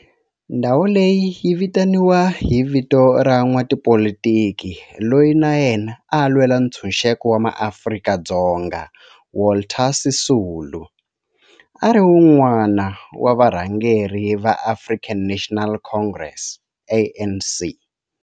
Ndhawo leyi yi vitaniwa hi vito ra n'watipolitiki loyi na yena a lwela ntshuxeko wa maAfrika-Dzonga Walter Sisulu, a ri wun'wana wa varhangeri va African National Congress, ANC.